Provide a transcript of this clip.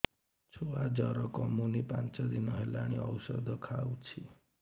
ଛୁଆ ଜର କମୁନି ପାଞ୍ଚ ଦିନ ହେଲାଣି ଔଷଧ ଖାଉଛି